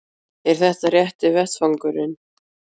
Er þetta rétti vettvangurinn?